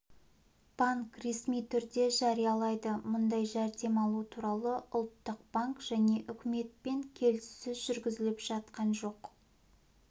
банк ресми түрде жариялайды мұндай жәрдем алу туралы ұлттық банк және үкіметпен келіссөз жүргізіліп жатқан жоқ